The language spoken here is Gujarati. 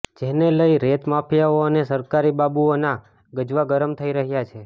જેને લઇ રેત માફિયાઓ અને સરકારી બાબુઓના ગજવા ગરમ થઇ રહ્યા છે